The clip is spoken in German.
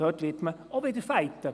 Dort wird man auch wieder kämpfen.